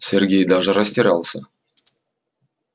сергей даже растерялся